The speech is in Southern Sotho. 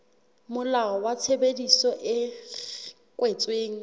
molao wa tshebedisano e kwetsweng